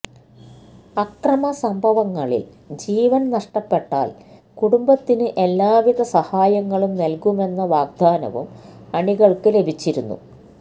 അക്രമ സംഭവങ്ങളില് ജീവന് നഷ്ടപ്പെട്ടാല് കുടുംബത്തിന് എല്ലാ വിധ സഹായങ്ങളും നല്കുമെന്ന വാഗ്ദാനവും അണികള്ക്ക് ലഭിച്ചിരുന്നു